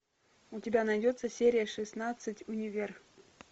у тебя найдется серия шестнадцать универ